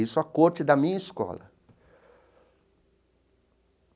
Isso a corte da minha escola.